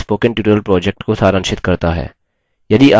यह spoken tutorial project को सारांशित करता है